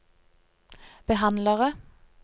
behandlere